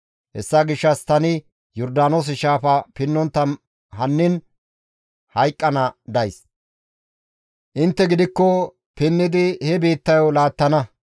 Hessa gishshas tani Yordaanoose shaafa pinnontta hannin hayqqana days; intte gidikko pinnidi he biittayo laattana.